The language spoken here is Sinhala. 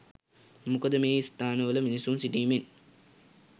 මොකද මේ ස්ථාන වල මිනිසුන් සිටීමෙන්